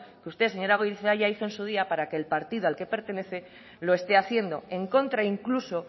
que usted señora goirizelaia hizo en su día para que el partido al que pertenece lo esté haciendo en contra incluso